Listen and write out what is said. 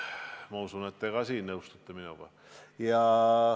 Ma usun, et ka teie nõustute minuga.